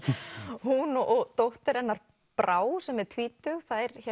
hún og dóttir hennar Brá sem er tvítug